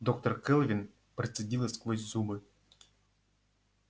доктор кэлвин процедила сквозь зубы